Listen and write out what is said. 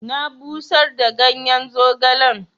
Na busar da ganyen zogalen.